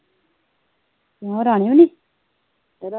ਕਿਉਂ ਰਾਣੀ ਵੀ ਨਹੀ?